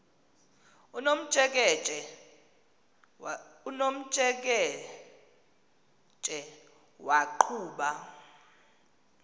unomtsheke tshe waqhuba